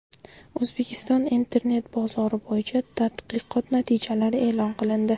O‘zbekiston internet bozori bo‘yicha tadqiqot natijalari e’lon qilindi.